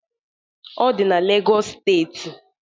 Ọ di na Legọs steeti